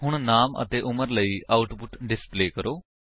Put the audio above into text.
ਹੁਣ ਨਾਮ ਅਤੇ ਉਮਰ ਲਈ ਆਉਟਪੁਟ ਡਿਸਪਲੇ ਕਰੋ